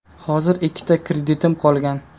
Hozir ikkita kreditim qolgan.